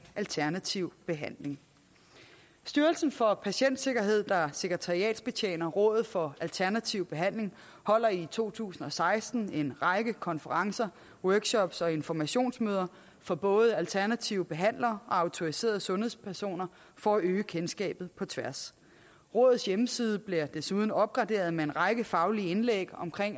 alternativ behandling styrelsen for patientsikkerhed der sekretariatbetjener rådet for alternativ behandling holder i to tusind og seksten en række konferencer workshops og informationsmøder for både alternative behandlere og autoriserede sundhedspersoner for at øge kendskabet på tværs rådets hjemmeside bliver desuden opgraderet med en række faglige indlæg om